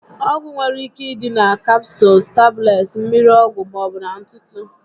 Ọgwụ nwere ike ịdị na Kapsụụls, tablets, mmiri ọgwụ, maọbu na ntụtụ